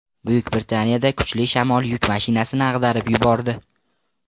Buyuk Britaniyada kuchli shamol yuk mashinasini ag‘darib yubordi .